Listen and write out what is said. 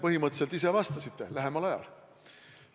Põhimõtteliselt te ise juba vastasite: lähemal ajal.